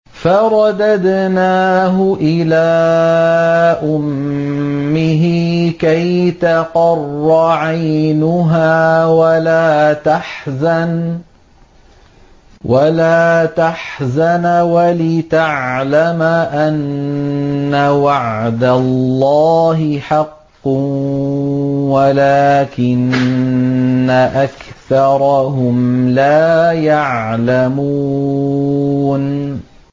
فَرَدَدْنَاهُ إِلَىٰ أُمِّهِ كَيْ تَقَرَّ عَيْنُهَا وَلَا تَحْزَنَ وَلِتَعْلَمَ أَنَّ وَعْدَ اللَّهِ حَقٌّ وَلَٰكِنَّ أَكْثَرَهُمْ لَا يَعْلَمُونَ